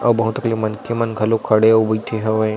और बहुत अकले मनखे मन खड़े अऊ बईथे हवे --